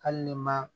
Hali ni ma